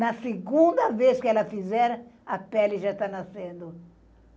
Na segunda vez que ela fizer, a pele já está nascendo.